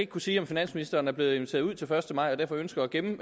kunne sige om finansministeren er blevet inviteret ud til første maj og derfor ønsker at gemme